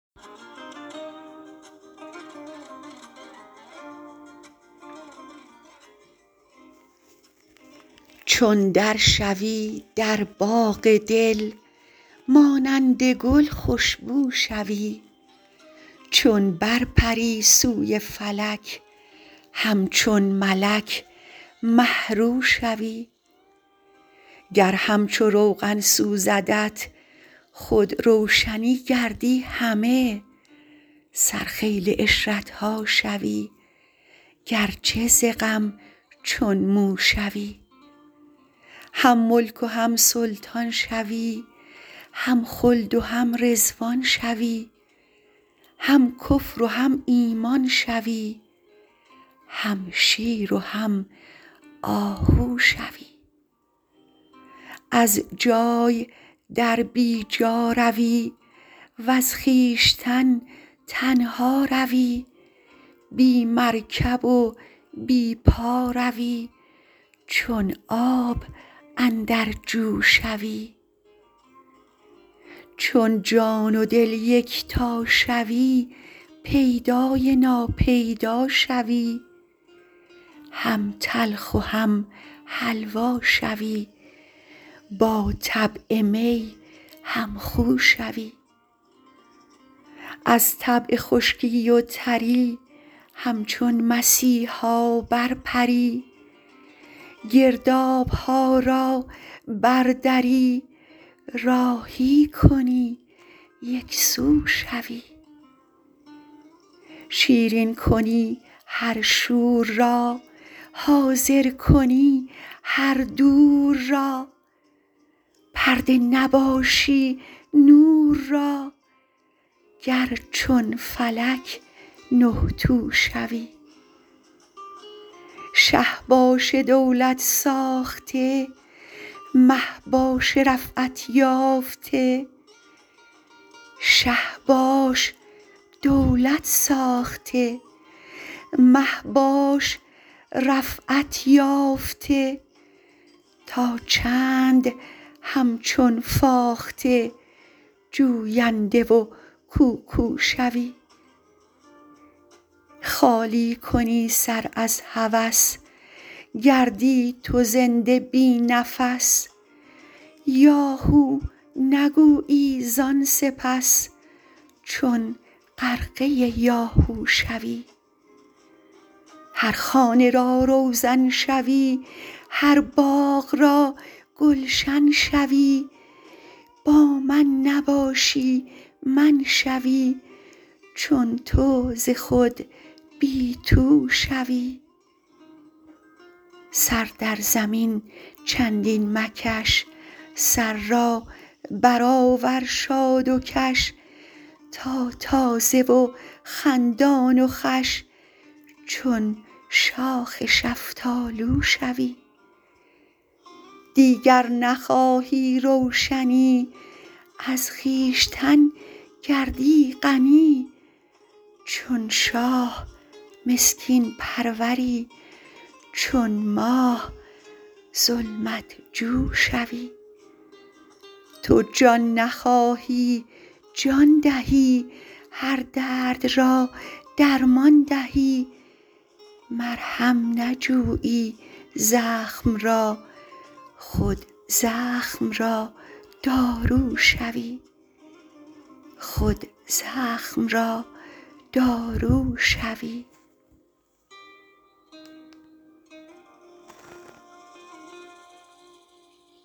چون در شو ی در باغ دل مانند گل خوش بو شوی چون بر پر ی سوی فلک همچون ملک مه رو شوی گر همچو روغن سوزدت خود روشنی گردی همه سرخیل عشرت ها شوی گرچه ز غم چون مو شوی هم ملک و هم سلطان شوی هم خلد و هم رضوان شوی هم کفر و هم ایمان شوی هم شیر و هم آهو شوی از جای در بی جا روی وز خویشتن تنها روی بی مرکب و بی پا روی چون آب اندر جو شوی چون جان و دل یکتا شوی پیدا ی نا پیدا شوی هم تلخ و هم حلوا شوی با طبع می هم خو شوی از طبع خشکی و تر ی همچون مسیحا برپر ی گرداب ها را بر دری راهی کنی یک سو شوی شیرین کنی هر شور را حاضر کنی هر دور را پرده نباشی نور را گر چون فلک نه تو شوی شه باش دولت ساخته مه باش رفعت یافته تا چند همچون فاخته جوینده و کوکو شوی خالی کنی سر از هوس گردی تو زنده بی نفس یا هو نگویی زان سپس چون غرقه یاهو شوی هر خانه را روزن شوی هر باغ را گلشن شوی با من نباشی من شوی چون تو ز خود بی تو شوی سر در زمین چندین مکش سر را برآور شاد کش تا تازه و خندان و خوش چون شاخ شفتالو شوی دیگر نخواهی روشنی از خویشتن گردی غنی چون شاه مسکین پرور ی چون ماه ظلمت جو شوی تو جان نخواهی جان دهی هر درد را درمان دهی مرهم نجویی زخم را خود زخم را دارو شوی